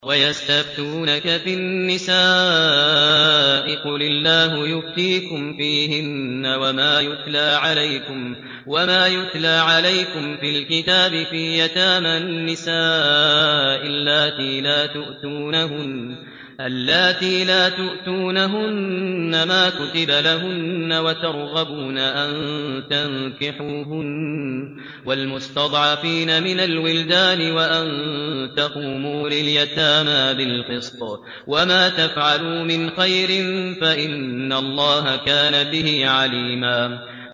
وَيَسْتَفْتُونَكَ فِي النِّسَاءِ ۖ قُلِ اللَّهُ يُفْتِيكُمْ فِيهِنَّ وَمَا يُتْلَىٰ عَلَيْكُمْ فِي الْكِتَابِ فِي يَتَامَى النِّسَاءِ اللَّاتِي لَا تُؤْتُونَهُنَّ مَا كُتِبَ لَهُنَّ وَتَرْغَبُونَ أَن تَنكِحُوهُنَّ وَالْمُسْتَضْعَفِينَ مِنَ الْوِلْدَانِ وَأَن تَقُومُوا لِلْيَتَامَىٰ بِالْقِسْطِ ۚ وَمَا تَفْعَلُوا مِنْ خَيْرٍ فَإِنَّ اللَّهَ كَانَ بِهِ عَلِيمًا